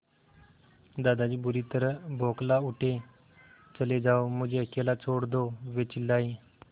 दादाजी बुरी तरह बौखला उठे चले जाओ मुझे अकेला छोड़ दो वे चिल्लाए